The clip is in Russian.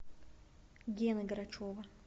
гены грачева